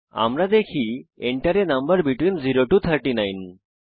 আমরা দেখি Enter a number between 0 to 39